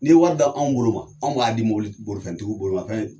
Ni ye wari da anw bolo anw b'a di mɔbili ti bolifɛntigiw bolimafɛn